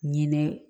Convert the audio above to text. Ɲinɛ